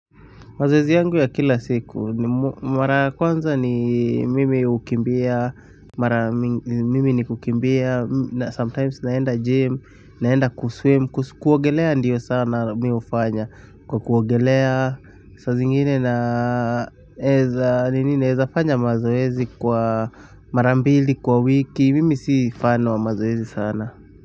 Mazoezi yangu ya kila siku, mara ya kwanza ni mimi hukimbia, mara mingi mimi ni kukimbia, sometimes naenda gym, naenda kuswim, kuogelea ndiyo sana mi hufanya, kwa kuogelea saa zingine na naeza, naeza fanya mazoezi kwa mara mbili kwa wiki mimi si fan wa mazoezi sana.